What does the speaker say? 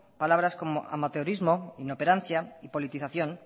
palabras como amateurismo inoperancia y politización